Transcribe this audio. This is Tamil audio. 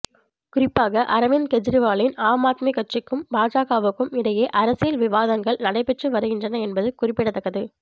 குறிப்பாக அரவிந்த் கெஜ்ரிவாலின் ஆம் ஆத்மி கட்சிக்கும் பாஜகவுக்கும் இடையே அரசியல் விவாதங்கள் நடைபெற்று வருகின்றன என்பது குறிப்பிடத்தக்கது